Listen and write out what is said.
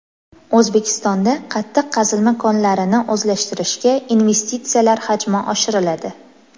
O‘zbekistonda qattiq qazilma konlarini o‘zlashtirishga investitsiyalar hajmi oshiriladi.